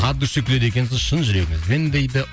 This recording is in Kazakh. от души күледі екенсіз шын жүрегіңізбен дейді